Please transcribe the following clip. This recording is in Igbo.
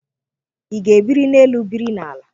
Ịga e biri n'elu biri na-ala?